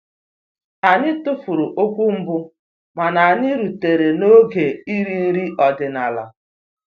Anyị tụfuru okwu mbụ mana anyị rutere n'oge iri nri ọdịnala